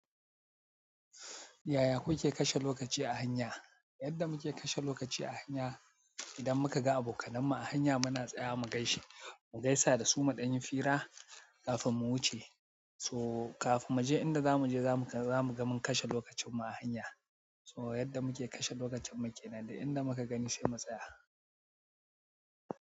Yaya kuke kashe lokaci a hanya? Yadda muke kashe lokaci a hanya, idan muka ga abokanenmu a hanya muna tsaya mu gaishe, mu gaisa da su maɗayin fira kafin mu wuce. To kafin mu je inda za mu je, za mu ga mun kashe lokacinmu a hanya. So yadda muke kashe lokacin mu ke nan, da inda muka gani sai mu tsaya.